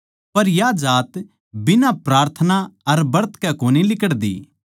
पर या जात बिना प्रार्थना अर ब्रत कै कोनी लिकड़दी